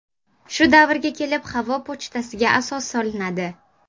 Shu davrga kelib havo pochtasiga asos solinadi.